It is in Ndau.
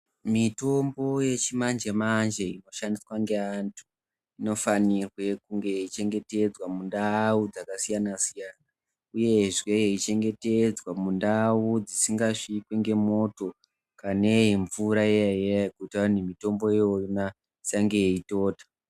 Mitombo yechimanje manje inoshandiswa ngeantu inofanirwe kunge yeichengetedzwa mundau dzakasiyana siyana uyezve yeichengetedzwa mundau dzisingasvikwi ngemoto kanemvura iya-iyana yekuti mitombo iyona isange yeitota.